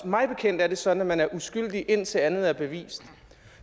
mig bekendt er det sådan at man er uskyldig indtil andet er bevist